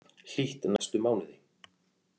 Hlýtt næstu mánuði